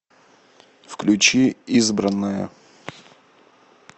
включи избранное